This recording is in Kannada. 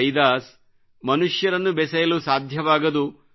ರಯಿದಾಸ್ ಮನುಷ್ಯರನ್ನು ಬೆಸೆಯಲು ಸಾಧ್ಯವಾಗದು